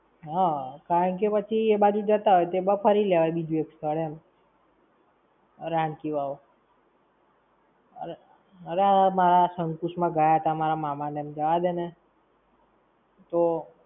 હા, કારણકે પછી એ બાજુ જતા હોય તો એમાં ફરી લેવાય, બીજું extra એમ. રણકી વાવ. અરે મારા શકુંશ માં ગયા તા મારા મામા ને એમ જવાદે ને! તો